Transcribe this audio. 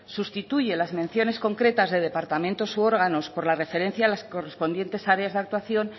sustituye las menciones concretas de departamentos y órganos por la referencia a las correspondientes áreas de actuación